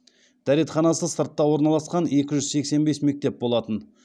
дәретханасы сыртта орналасқан екі жүз сексен бес мектеп болатын